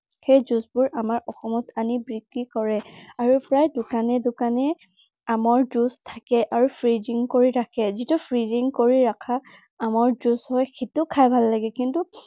সেই juice বোৰ আমাৰ অসমত আনি বিক্ৰী কৰে। আৰু প্ৰায় দোকানে দোকানে আমৰ juice থাকে আৰু freezing কৰি ৰাখে। যিটো freezing কৰি ৰখা আমৰ juice হয়, সেইটো খাই ভাল লাগে। কিন্তু